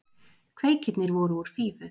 Kveikirnir voru úr fífu.